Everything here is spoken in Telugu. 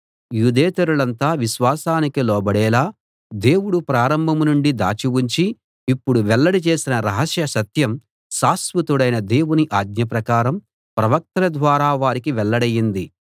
యూదేతరులంతా విశ్వాసానికి లోబడేలా దేవుడు ప్రారంభం నుండి దాచి ఉంచి ఇప్పుడు వెల్లడి చేసిన రహస్య సత్యం శాశ్వతుడైన దేవుని ఆజ్ఞ ప్రకారం ప్రవక్తల ద్వారా వారికి వెల్లడైంది